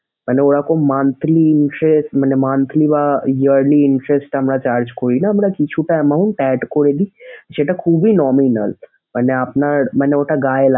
মানে ওরকম monthly interest মানে monthly বা yearly interest আমরা charge করিনা আমরা কিছুটা amount add করে দেই যেটা খুবই nominal মানে আপনার মানে ওটা গায়ে লাগ ।